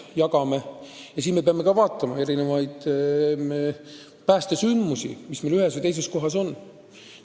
Ja muidugi me peame arvestama ka erinevaid päästesündmusi, mis ühes või teises kohas sagedamini ette tulevad.